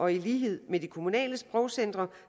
i lighed med de kommunale sprogcentre